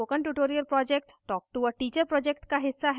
spoken tutorial project talktoa teacher project का हिस्सा है